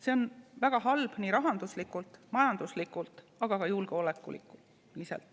See on väga halb nii rahanduslikult, majanduslikult, aga ka julgeoleku mõttes.